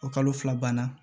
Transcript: O kalo fila banna